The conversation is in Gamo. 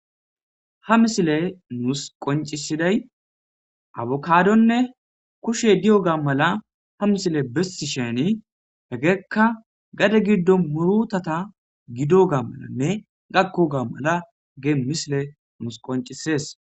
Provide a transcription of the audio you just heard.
ha misile nus qonccisiday abukadonne kushe diyoga mala ha misile besishini hegeeykka gade giddo murutata gido ga malanne gakko ga mala ge misile nus qoncisees.